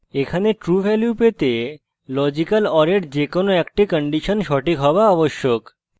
এখানে true value পেতে logical or এর যে কোনো একটি কন্ডিশন সঠিক হওয়া আবশ্যক